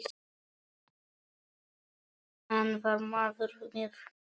Hann var maður með viti.